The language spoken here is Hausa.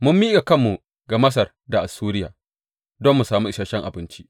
Mun miƙa kanmu ga Masar da Assuriya don mu sami isashen abinci.